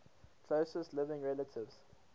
closest living relatives